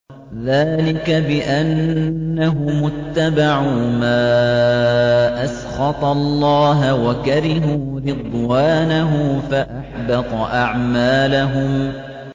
ذَٰلِكَ بِأَنَّهُمُ اتَّبَعُوا مَا أَسْخَطَ اللَّهَ وَكَرِهُوا رِضْوَانَهُ فَأَحْبَطَ أَعْمَالَهُمْ